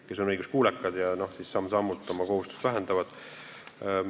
Nad on õiguskuulekad ja täidavad oma kohustust samm-sammult.